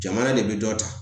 Jamana de bi dɔ ta.